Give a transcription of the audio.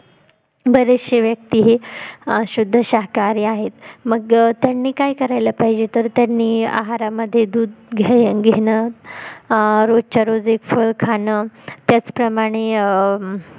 बरेचशे व्यक्ति हे शुद्ध शाकाहारी आहेत मग त्यांनी काय करायला पाहिजे तर त्यांनी आहारामध्ये दूध घेणं रोजच्या रोज एक फळ खाणं त्याचप्रमाणे अं